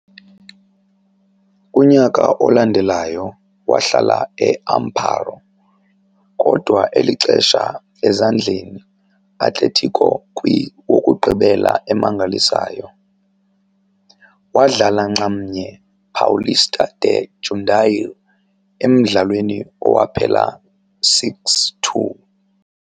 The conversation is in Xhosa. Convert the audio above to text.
kunyaka olandelayo wahlala e Amparo, kodwa eli xesha ezandleni Atletico kwi wokugqibela emangalisayo, wadlala nxamnye Paulista de Jundiaí, emdlalweni owaphela 6-2.